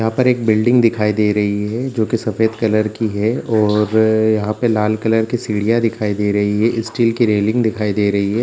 यहाँ पर एक बिल्डिंग दिखाई दे रही है जो की सफेद कलर की है और यहाँ पर लाल कलर की सीढ़ियाँ दिखाई दे रही है स्टील की रेलिंग दिखाई दे रही है।